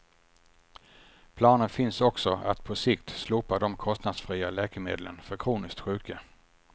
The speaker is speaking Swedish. Planer finns också att på sikt slopa de kostnadsfria läkemedlen för kroniskt sjuka.